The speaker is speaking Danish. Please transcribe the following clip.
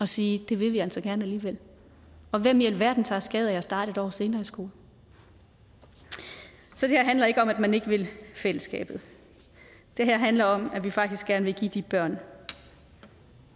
sige det vil vi altså gerne alligevel og hvem i alverden tager skade af at starte et år senere i skole så det her handler ikke om at man ikke vil fællesskabet det her handler om at vi faktisk gerne vil give de børn